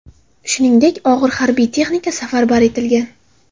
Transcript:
Shuningdek, og‘ir harbiy texnika safarbar etilgan.